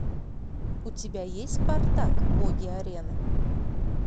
у тебя есть спартак боги арены